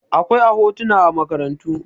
akwai a hotuna a makaranta